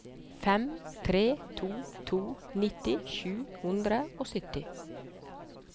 fem tre to to nitti sju hundre og sytti